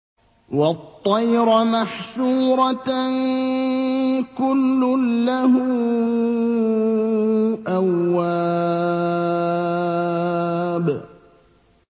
وَالطَّيْرَ مَحْشُورَةً ۖ كُلٌّ لَّهُ أَوَّابٌ